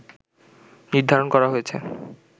নির্ধারণ করা হয়েছে